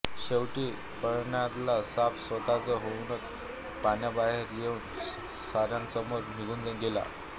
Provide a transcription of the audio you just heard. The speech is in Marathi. शेवटी पाळण्यातला साप स्वतः होऊनच पाळण्याबाहेर येऊन साऱ्यांसमोर निघून गेला